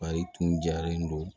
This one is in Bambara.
Ayi tun jalen don